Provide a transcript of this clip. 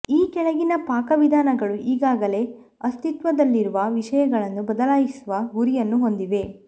ಈ ಕೆಳಗಿನ ಪಾಕವಿಧಾನಗಳು ಈಗಾಗಲೇ ಅಸ್ತಿತ್ವದಲ್ಲಿರುವ ವಿಷಯಗಳನ್ನು ಬದಲಾಯಿಸುವ ಗುರಿಯನ್ನು ಹೊಂದಿವೆ